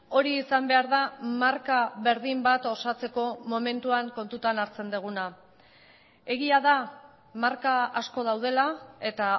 hori izan behar da marka berdin bat osatzeko momentuan kontutan hartzen duguna egia da marka asko daudela eta